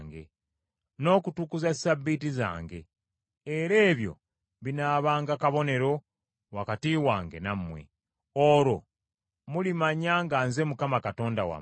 n’okutukuza Ssabbiiti zange, era ebyo binaabanga kabonero wakati wange nammwe, olwo mulimanya nga nze Mukama Katonda wammwe.”